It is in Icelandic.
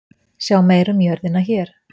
Sjá meira um jörðina hér.